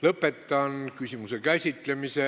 Lõpetan küsimuse käsitlemise.